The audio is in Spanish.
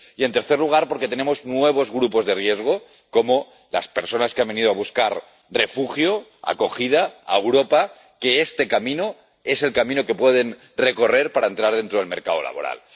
y, en tercer lugar, porque tenemos nuevos grupos de riesgo, como las personas que han venido a buscar refugio, acogida, a Europa, porque este camino es el camino que pueden recorrer para entrar dentro del mercado laboral.